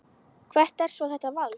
Hvert er svo þetta vald?